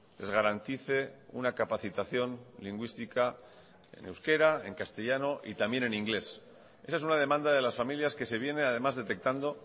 les garantice una capacitación lingüística en euskera en castellano y también en inglés esa es una demanda de las familias que se viene además detectando